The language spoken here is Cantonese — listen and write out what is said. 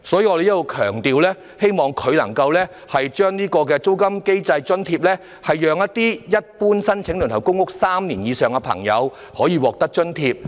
我在此強調，希望政府能制訂租金津貼機制，讓輪候公屋3年以上的人士可獲發津貼。